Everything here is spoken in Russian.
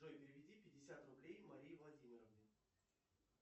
джой переведи пятьдесят рублей марии владимировне